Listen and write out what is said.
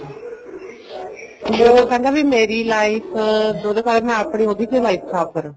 ਉਹ ਕਹਿੰਦਾ ਵੀ ਮੇਰੀ life ਮੈਂ ਉਹਦੀ ਤੇ life ਖਰਾਬ ਕਰਾਂ